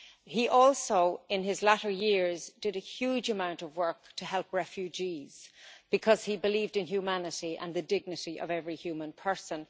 He also, in his latter years, did a huge amount of work to help refugees, because he believed in humanity and the dignity of every human person.